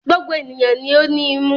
Gbogbo ènìyàn ni ó ní imú.